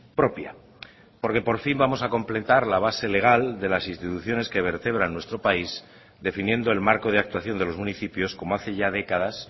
propia porque por fin vamos a completar la base legal de las instituciones que vertebran nuestro país definiendo el marco de actuación de los municipios como hace ya décadas